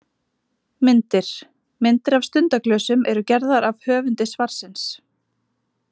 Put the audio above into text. Myndir: Myndir af stundaglösum eru gerðar af höfundi svarsins.